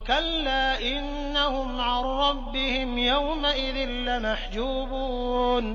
كَلَّا إِنَّهُمْ عَن رَّبِّهِمْ يَوْمَئِذٍ لَّمَحْجُوبُونَ